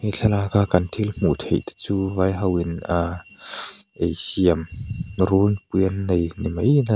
thlalak a kan thil hmuh theih te chu vai ho in ahh ei siam runpui an nei nimai in a--